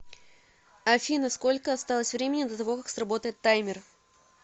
афина сколько осталось времени до того как сработает таймер